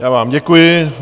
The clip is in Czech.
Já vám děkuji.